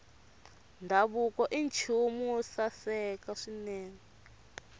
ndhavuko i nchumu wo saseka swinene